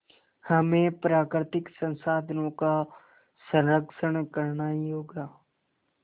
हमें प्राकृतिक संसाधनों का संरक्षण करना ही होगा